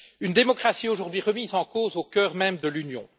Une démocratie aujourd'hui remise en cause au cœur même de l'Union.